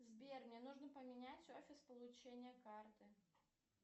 сбер мне нужно поменять офис получения карты